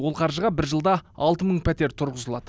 ол қаржыға бір жылда алты мың пәтер тұрғызылады